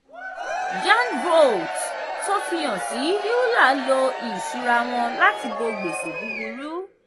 yearn vaults tó fìhan sí euler lò ìṣúra wọn láti bó gbèsè búburú.